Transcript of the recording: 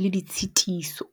le ditshitiso.